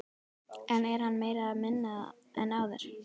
En er hann meiri eða minni en áður?